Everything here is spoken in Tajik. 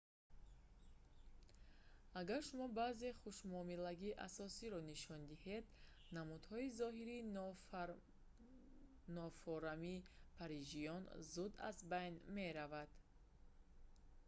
агар шумо баъзе хушмуомилагии асосиро нишон диҳед намудҳои зоҳирии нофорами парижиён зуд аз байн мераванд